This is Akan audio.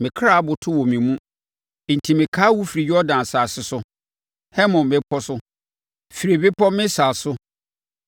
Me kra aboto wɔ me mu enti mɛkae wo firi Yordan asase so, Hermon mmepɔ so, firi Bepɔ Misar so.